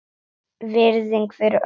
Virðing fyrir öllum.